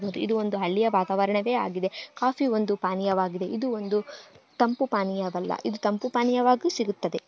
ಇದು ಒಂದು ಹಳ್ಳಿಯ ವಾತವಾರಣವಗೆ ಆಗಿದೆ ಕಾಫಿ ಒಂದು ಪಾನೀಯವಾಗಿದೆ ಇದು ಒಂದು ತಂಪು ಪಾನೀಯವಲ್ಲ ಇದು ತಂಪು ಪಾನೀಯವಾಗು ಸಿಗುತ್ತದೆ.